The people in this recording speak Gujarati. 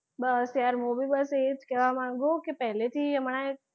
બસ યાર હું બી બસ એજ કહેવા માંગું કે પહેલીથી હમણાં એ,